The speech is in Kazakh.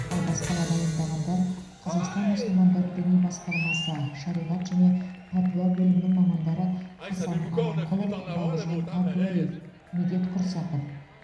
ал баспаға дайындағандар қазақстан мұсылмандар діни басқармасы шариғат және пәтуа бөлімінің мамандары хасан аманқұлов бауыржан әбдуалиев медет құрсақов